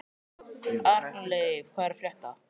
Arnleif, hvað er að frétta?